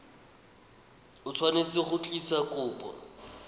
o tshwanetse go tlisa kopo